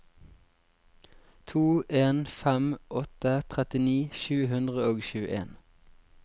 to en fem åtte trettini sju hundre og tjueen